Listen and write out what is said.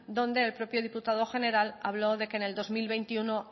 donde el propio diputado general habló de que en el dos mil veintiuno